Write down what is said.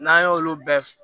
N'an y'olu bɛɛ